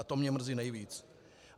A to mě mrzí nejvíc.